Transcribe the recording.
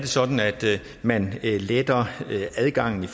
sådan at man letter adgangen